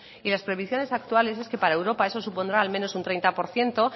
y las previsiones actuales es que para europa eso supondrá al menos un treinta por ciento